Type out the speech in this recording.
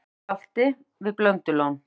Stór skjálfti við Blöndulón